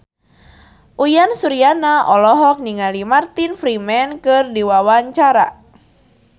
Uyan Suryana olohok ningali Martin Freeman keur diwawancara